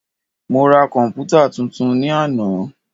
Mo ra komputa tuntun ní àná.